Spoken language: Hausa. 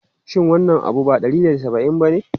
Shin wannan abu ba naira ɗari da saba'in bane?